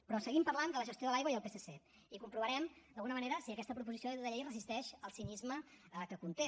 però seguim parlant de la gestió de l’aigua i el psc i comprovarem d’alguna manera si aquesta proposició de llei es resisteix al cinisme que conté